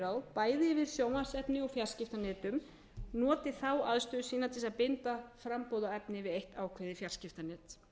bæði yfir sjónvarpsefni og fjarskiptanetum noti þá aðstöðu sína til þess að binda framboð á efni við eitt ákveðið fjarskiptanet